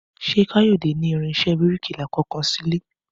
Ṣé Káyọ̀dé ní irinṣẹ́ bíríkìlà kankan sílé?